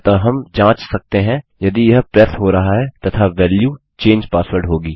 अतः हम जाँच सकते हैं यदि यह प्रेस हो रहा है तथा वेल्यू चंगे पासवर्ड होगी